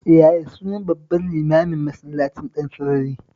Yaya sunan babban limamin Masallacin Ɗansarari?